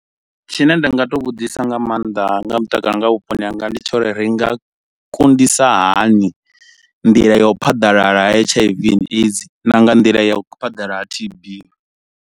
Tshine nda nga to vhudzisa nga mannḓa nga ha mutakalo nga ha vhuponi hanga ndi tsho uri ri nga kundisa hani nḓila ya u phaḓalala ha H_I_V and AIDS na nga nḓila ya u phaḓalala T_B.